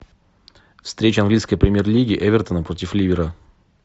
встреча английской премьер лиги эвертона против ливера